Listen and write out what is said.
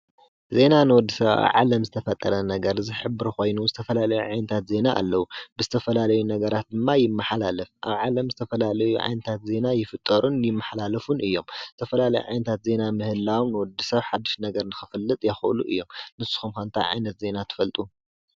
ዜና ንወዲሰብ ኣ ዓለም ዝተፈጠረ ነገር ዝኅብሪ ኾይኑ ዝተፈላለየ ዓይንታት ዜና ኣለዉ ብዝተፈላለዩ ነገራት ድማ ይመኃላለፍ ኣብ ዓለም ዝተፈላለዩ ዐይንታት ዜና ይፍጠሩን ይመኃላልፉን እዮም ዝተፈላለይ ዓይንታት ዜና ምህላው ንወዲ ሰብ ሓድሽ ነገር ንኽፍልጥ የኸእሉ እዮም ንሱ ኸምዃእንታ ዓይነት ዘይና ትፈልጡ?